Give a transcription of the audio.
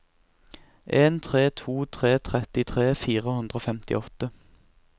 en tre to tre trettitre fire hundre og femtiåtte